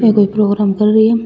ये कोई प्रोग्राम कर री है।